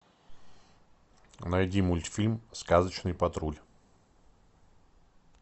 найди мультфильм сказочный патруль